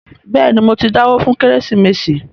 Bẹ́ẹ̀ni, mo ti dáwó fún “ kérésìmesì ”